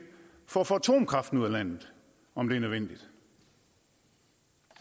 for at få atomkraften ud af landet om det er nødvendigt